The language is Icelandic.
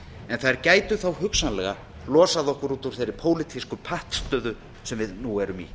en þær gætu þó hugsanlega losað okkur út úr þeirri pólitísku pattstöðu sem við nú erum í